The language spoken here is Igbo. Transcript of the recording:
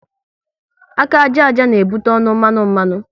Aka àjà àjà n'ebute ọnụ mmanụ mmanụ